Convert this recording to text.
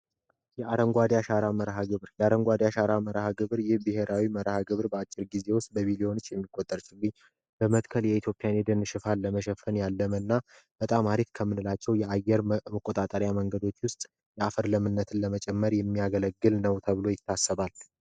የአረንጓዴ መርሃ ግብር የአረንጓዴ መርሃ ግብር ይህ በአጭር ጊዜ ውስጥ በሚሊዮኖች የሚቆጠሩ ችግኞችን በመትከል የኢትዮጵያን የደን ሽፋን ለመሸፈን ያለመና በጣም አሪፍ ከምንላቸው የአየር መቆጣጠሪያ መንገዶች ውስጥ ያፈር ለምነትን ለመጨመር የሚያገለግል ነው ተብሎ ይታሰባል።